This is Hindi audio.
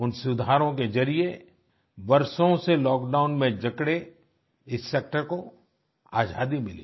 उन सुधारों के जरिए वर्षों से लॉकडाउन में जकड़े इस सेक्टर को आजादी मिली